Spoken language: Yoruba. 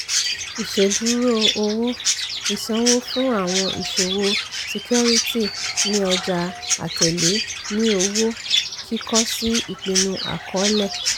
ìṣèdúró owó - ìsanwó fún àwọn ìṣòwò ṣíkíórítì ní ọjà àtẹ̀lé ní owó kìkọ́ sí ìpinnu àkọọlẹ̀.